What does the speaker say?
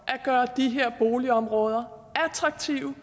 at gøre de her boligområder attraktive